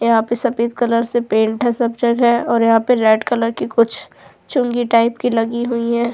यहां पे सफेद कलर से पेंट है सब्चड हैं और यहां पे रेड कलर की कुछ चुंगी टाइप की लगी हुई है।